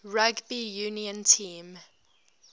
rugby union team